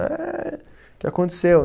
Ah ê. O que aconteceu?